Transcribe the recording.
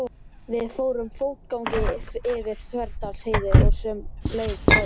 Við fórum fótgangandi yfir Þverdalsheiði og sem leið lá til